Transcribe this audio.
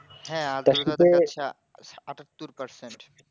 হ্যাঁ তার সাথে আঠাত্তর persoan